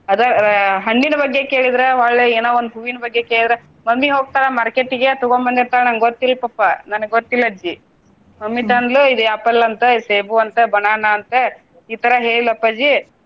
ಅದ ಆ ಹಣ್ಣಿನ ಬಗ್ಗೆ ಕೇಳಿದ್ರ ಹೊಳ್ಳಿ ಏನೋ ಒಂದ ಹೂವಿನ ಬಗ್ಗೆ ಕೇಳಿದ್ರ mummy ಹೋಗ್ತಾಳ market ಗೆ ತುಗೊಂದ ಬಂದಿರ್ತಾಳ ನಂಗ ಗೊತ್ತಿಲ್ಲ ಪಪ್ಪಾ ನನಗ್ ಗೊತ್ತಿಲ್ಲ ಅಜ್ಜಿ mummy ತಂದ್ಲು ಇದ್ apple ಅಂತ, ಇದ ಸೇಬು ಅಂತ, banana ಅಂತ ಈತರ ಹೇಳ್ಳ ಅಪ್ಪಾಜಿ.